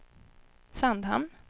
Sandhamn